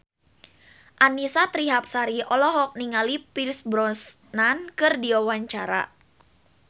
Annisa Trihapsari olohok ningali Pierce Brosnan keur diwawancara